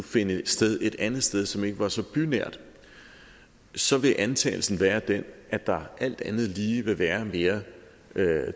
finde sted et andet sted som ikke var så bynært så vil antagelsen være den at der alt andet lige vil være mere